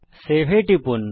Save এ টিপুন